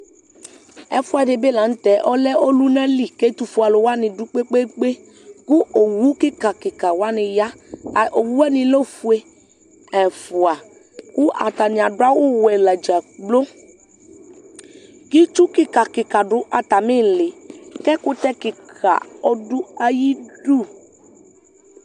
Ɛfʋɛdɩ bɩ lanʋ tɛ ɔlɛ ɔlʋnalɩ kɛtʋfʋe alʋwanɩ dʋ kpekpekpe ƙʋ owʋ kɩkakɩka wanɩ ya Owʋ wanɩ lɛ ofʋe ɛfʋa kʋ atanɩ adʋ awʋ wɛ la dza gblo Kɩ ɩtsʋ kɩka kɩka dʋ atamɩ ɩɩlɩ kʋ ɛkʋtɛ kɩkaa ɔdʋ ayɩ dʋ